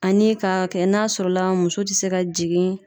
Ani ka kɛ n'a sɔrɔ la muso te se ka jigin